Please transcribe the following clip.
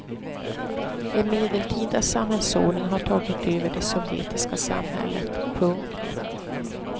En medeltida samhällsordning har tagit över det sovjetiska samhället. punkt